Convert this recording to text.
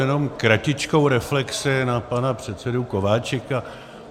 Jenom kratičkou reflexi na pana předsedu Kováčika.